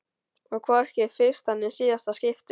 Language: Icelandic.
Og hvorki í fyrsta né síðasta skipti.